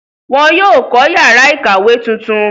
wọ́n yóò kọ́ yàrá ìkàwé tuntun.